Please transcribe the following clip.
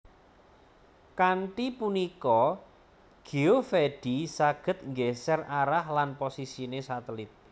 Kanthi punika Geovedi saged nggeser arah lan posisine satelit